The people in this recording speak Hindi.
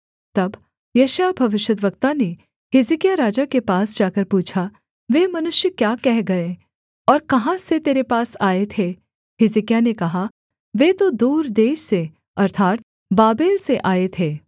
तब यशायाह भविष्यद्वक्ता ने हिजकिय्याह राजा के पास जाकर पूछा वे मनुष्य क्या कह गए और कहाँ से तेरे पास आए थे हिजकिय्याह ने कहा वे तो दूर देश से अर्थात् बाबेल से आए थे